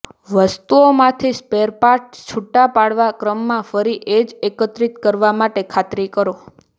વસ્તુઓમાંથી સ્પેરપાર્ટસ છૂટા પાડવા ક્રમમાં ફરી એ જ એકત્રિત કરવા માટે ખાતરી કરો